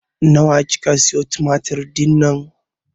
Nawa kika siyo tumatir dinnan?